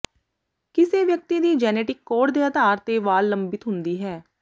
ਕਿਸੇ ਵਿਅਕਤੀ ਦੀ ਜੈਨੇਟਿਕ ਕੋਡ ਦੇ ਆਧਾਰ ਤੇ ਵਾਲ ਲੰਬਿਤ ਹੁੰਦੀ ਹੈ